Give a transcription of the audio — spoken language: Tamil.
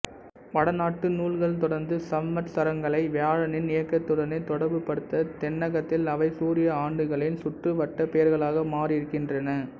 வடநாட்டு நூல்கள் தொடர்ந்து சம்வத்சரங்களை வியாழனின் இயக்கத்துடனே தொடர்புபடுத்த தென்னகத்தில் அவை சூரிய ஆண்டுகளின் சுற்றுவட்டப் பெயர்களாக மாறியிருக்கின்றன